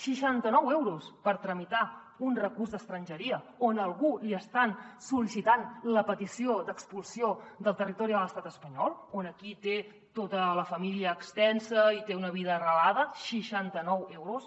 seixanta nou euros per tramitar un recurs d’estrangeria on a algú li estan sol·licitant la petició d’expulsió del territori de l’estat espanyol on té tota la família extensa i té una vida arrelada seixanta nou euros